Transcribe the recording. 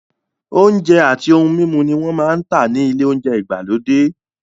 Oúnjẹ àti ohun mímu ni wọ́n máa ń tà ní ilé oúnjẹ ìgbàlódé.